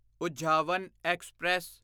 ਉਝਾਵਾਂ express